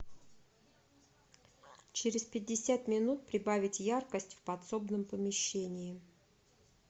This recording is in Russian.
через пятьдесят минут прибавить яркость в подсобном помещении